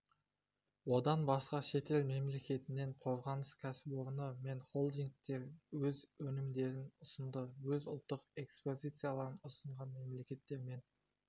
одан басқа шетел мемлекетінен қорғаныс кәсіпорны мен холдингтер өз өнімдерін ұсынды өз ұлттық экспозицияларын ұсынған мемлекеттермен